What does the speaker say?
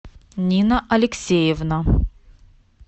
нина алексеевна